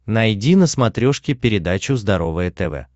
найди на смотрешке передачу здоровое тв